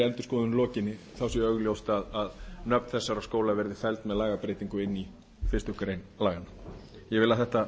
endurskoðun lokinni þá sé augljóst að nöfn þessara skóla verði felld með lagabreytingu inn í fyrstu grein laganna ég vil að þetta